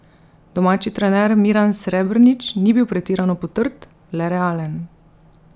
Domači trener Miran Srebrnič ni bil pretirano potrt, le realen.